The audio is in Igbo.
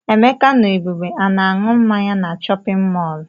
Emeka na Ebube a na-aṅụ mmanya na chọpịn mọọlụ?